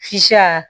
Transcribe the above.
Fisaya